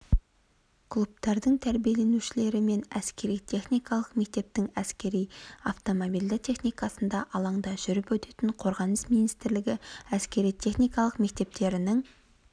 клубтардың тәрбиеленушілері мен әскери-техникалық мектептің әскери автомобильді техникасында алаңда жүріп өтетін қорғаныс министрлігі әскери-техникалық мектептерінің